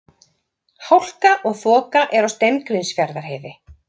Hálka og þoka er á Steingrímsfjarðarheiði